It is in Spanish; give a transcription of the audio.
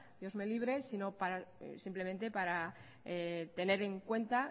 dios me libre sino simplemente para tener en cuenta